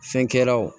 Fɛn kɛlaw